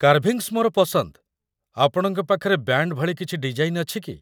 Carvings ମୋର ପସନ୍ଦ । ଆପଣଙ୍କ ପାଖରେ ବ୍ୟାଣ୍ଡ୍ ଭଳି କିଛି ଡିଜାଇନ୍‌ ଅଛି କି?